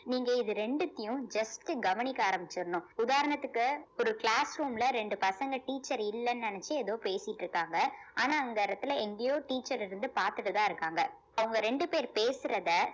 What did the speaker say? நீங்க இது ரெண்டுத்தையும் just உ கவனிக்க ஆரம்பிச்சிறணும் உதாரணத்துக்கு ஒரு class room ல ரெண்டு பசங்க teacher இல்லைன்னு நினைச்சு ஏதோ பேசிட்டு இருக்காங்க ஆனா அந்த இடத்துல எங்கேயோ teacher இருந்து பாத்துட்டு தான் இருக்காங்க அவங்க ரெண்டு பேர் பேசுறத